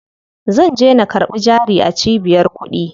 Zanje na karɓi jari a cibiyar kuɗi.